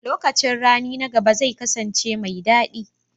Lokacin rani na gaba zai kasance mai daɗi.